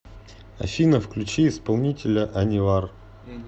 афина включи исполнителя анивар